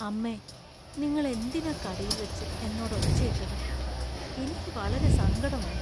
അമ്മേ! നിങ്ങൾ എന്തിനാ കടയിൽവച്ച് എന്നോട് ഒച്ചയിട്ടത് , എനിക്ക് വളരെ സങ്കടം ആയി .